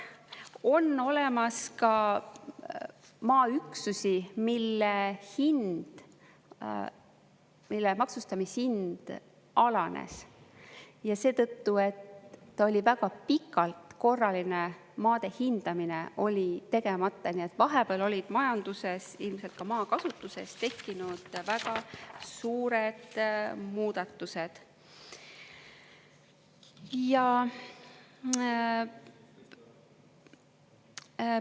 On olemas ka maaüksusi, mille maksustamishind alanes ja seetõttu, et väga pikalt korraline maade hindamine oli tegemata, nii et vahepeal olid majanduses, ilmselt ka maakasutuses tekkinud väga suured muudatused.